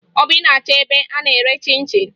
Obi na-achọ ebe a na-ere chịn chịn